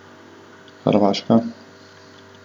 Hrvaška.